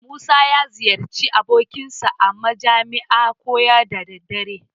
Musa ya ziyarci abokinsa a majami'a koya da daddare.